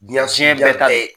bɛɛ ta ye.